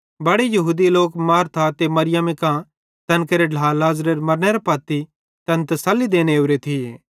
बड़े यहूदी लोक मार्था ते मरियमी कां तैन केरे ढ्ला लाज़रेरे मरनेरां पत्ती तैना तसल्ली देने ओरे थिये